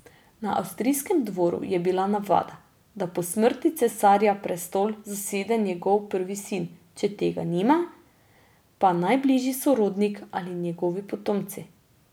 Na avstrijskem dvoru je bila navada, da po smrti cesarja prestol zasede njegov prvi sin, če tega nima, pa najbližji sorodnik ali njegovi potomci.